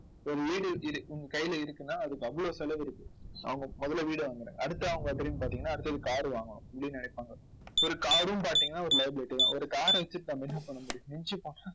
ஒரு வீடு இது உங்க கையில இருக்குன்னா அதுக்கு அவ்வளவு செலவு இருக்கு. அவங்க முதல்ல வீட வாங்குங்க. அடுத்து அவங்களை திரும்பி பார்த்தீங்கன்னா அடுத்தது car வாங்கணும் அப்படின்னு நினைப்பாங்க. ஒரு car ரும் பார்த்தீங்கன்னா ஒரு liability தான். ஒரு car வச்சு நம்ம என்ன பண்ண முடியும்